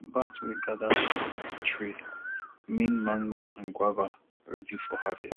bat wey gather for fruit tree mean mango and guava ready for harvest